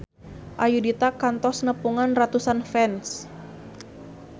Ayudhita kantos nepungan ratusan fans